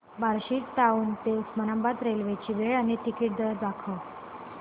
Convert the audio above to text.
Barshi town ते Osmanabad railway ची वेळ आणि तिकीट दर दाखव